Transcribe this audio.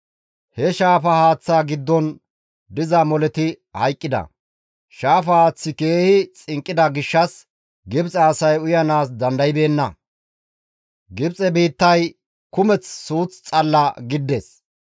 He shaafa haaththaa giddon diza moleti hayqqida; shaafa haaththi keehi xinqqida gishshas Gibxe asay uyanaas dandaybeenna. Gibxe biittay kumeth suuth xalla gidides.